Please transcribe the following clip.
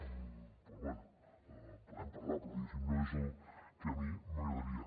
doncs bé en podem parlar però diguéssim no és el que a mi m’agradaria